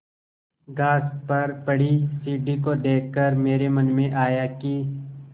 घास पर पड़ी सीढ़ी को देख कर मेरे मन में आया कि